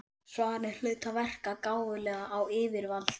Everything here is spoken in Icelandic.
Svarið hlaut að verka gáfulega á yfirvaldið.